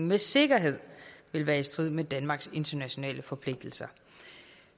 med sikkerhed vil være i strid med danmarks internationale forpligtelser